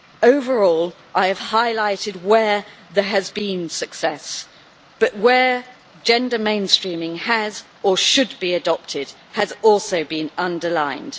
Overall, I have highlighted where there has been success, but where gender mainstreaming has been or should be adopted has also been underlined.